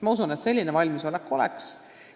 Ma usun, et selline valmisolek on neil olemas.